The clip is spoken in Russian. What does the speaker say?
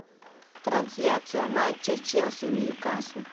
трансляция матча челси ньюкасл